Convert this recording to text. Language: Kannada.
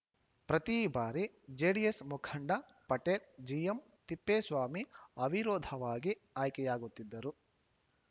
ಪ್ರತಿಬಾರಿ ಜೆಡಿಎಸ್‌ ಮುಖಂಡ ಪಟೇಲ್‌ ಜಿಎಂತಿಪ್ಪೇಸ್ವಾಮಿ ಅವಿರೋಧವಾಗಿ ಆಯ್ಕೆಯಾಗುತ್ತಿದ್ದರು